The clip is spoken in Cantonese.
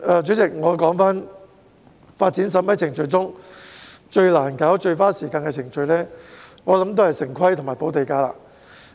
主席，我相信發展審批程序中最難處理及最花時間的程序，是城市規劃和補地價。